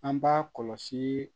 An b'a kɔlɔsii